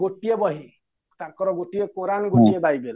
ଗୋଟିଏ ବହି ତାଙ୍କର ଗୋଟିଏ କୋରାନ ଗୋଟିଏ ବାଇବେଲ